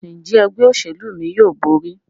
Njé Ẹgbẹ́ òṣèlú mí yóò bóri?